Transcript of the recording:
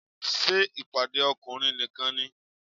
Ṣé ìpàdé ọkùnrin nìkan ni?